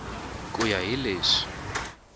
hi ku ya hi leswi